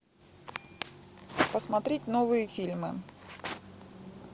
посмотреть новые фильмы